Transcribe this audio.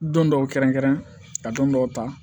Don dɔw kɛrɛnkɛrɛn ka don dɔw ta